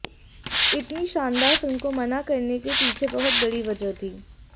इतनी शानदार फिल्म को मना करने के पीछे बहुत बड़ी वजह थी